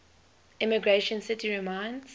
emigration city reminds